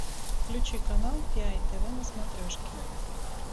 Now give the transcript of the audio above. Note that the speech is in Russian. включи канал пи ай тв на смотрешке